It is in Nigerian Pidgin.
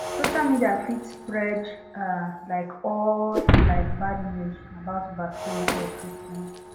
social media fit spread ah like all like bad news about vaccines or treatment